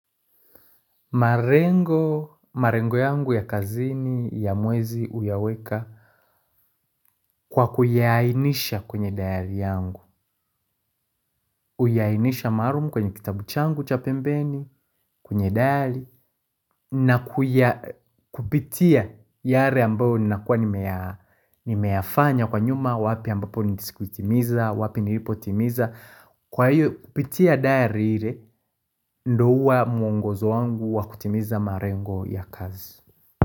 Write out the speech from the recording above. Malengo, malengo yangu ya kazini ya mwezi huyaweka kwa kuyaainisha kwenye dayari yangu. Uyainisha maalum kwenye kitabu changu cha pembeni kwenye dayari na kuya kupitia yale ambao ninakuwa nimeyafanya kwa nyuma wapi ambapo nindisikuitimiza, wapi nilipo timiza. Kwa hiyo kupitia dayari ile ndo huwa mwongozo wangu wa kutimiza malengo ya kazi.